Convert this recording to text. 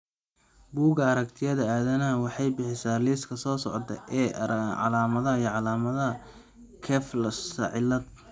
Bugga Aragtiyaha Aadanaha waxay bixisaa liiska soo socda ee calaamadaha iyo calaamadaha Kleefstra cilaad.